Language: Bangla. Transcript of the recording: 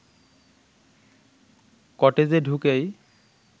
কটেজে ঢুকেই